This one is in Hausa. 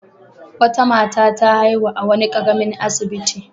Wata mata ta haihu a wani ƙaramin asibiti.